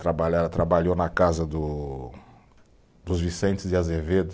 Trabalhar, ela trabalhou na casa do dos Vicentes de Azevedo.